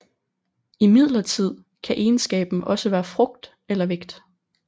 Imidlertid kan egenskaben også være frugt eller vægt